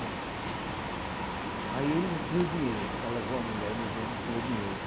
conto. Aí ele não tinha o dinheiro para levar a mulher, no dia não tinha o dinheiro.